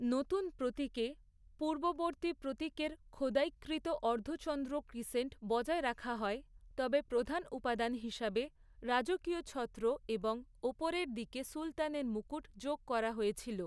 নতুন প্রতীকে, পূর্ববর্তী প্রতীকের, খোদাইকৃত অর্ধচন্দ্র ক্রিসেন্ট বজায় রাখা হয়, তবে প্রধান উপাদান হিসাবে, রাজকীয় ছত্র এবং ওপরের দিকে সুলতানের মুকুট যোগ করা হয়েছিল।